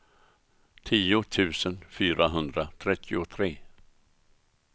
tio tusen fyrahundratrettiotre